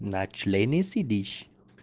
на члене сидишь